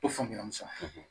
I faamuyali sa